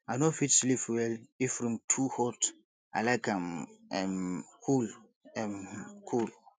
i no fit sleep well if room too hot i like am um cool um cool